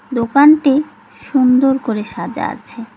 দোকানটি সুন্দর করে সাজা আছে।